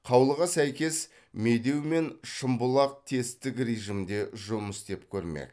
қаулыға сәйкес медеу мен шымбұлақ тесттік режимде жұмыс істеп көрмек